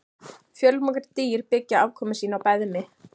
Fjölmörg dýr byggja afkomu sína á beðmi.